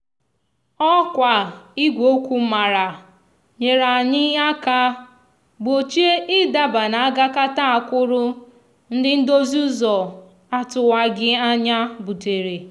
òkwa igwe okwu mara nyereanyi aka gbochie idaba na agakata akwúrú ndi ndozi úzò atúwagi anya butere.